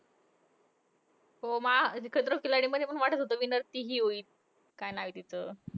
हो. मा खतरों के खिलाडी मध्ये पण वाटतं होतं, कि winner ती हि होईल. काय नाव आहे तिचं?